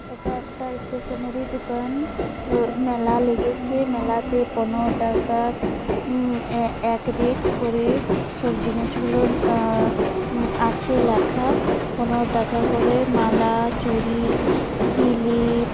এটা একটা স্টেশনারি দুকান। আহ মেলা লেগেছে। মেলাতে পনেরো টাকা উম এ-এক রেট করে সব জিনিস গুলো আহ আছে লেখা। পনেরো টাকা করে মালা চুড়ি কিলিপ ।